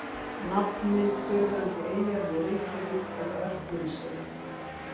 Nafnmynd fyrrverandi eyjar við Reykjavík er Örfirisey.